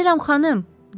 Gəlirəm, xanım!